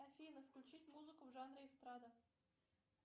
афина включить музыку в жанре эстрада